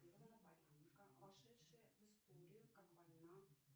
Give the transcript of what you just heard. вошедшая в историю как война